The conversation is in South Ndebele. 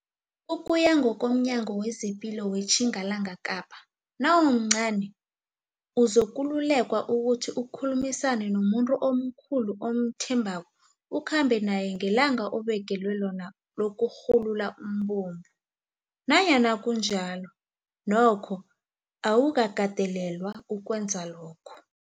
Ukuya ngokomNyango wezePilo weTjingalanga Kapa, nawumncani, uzokululekwa ukuthi ukhulumisane nomuntu omkhulu omthembako ukhambe naye ngelanga obekelwe lona lokurhulula umbungu. Nanyana kunjalo, nokho, awukakatelelwa ukwenza lokho.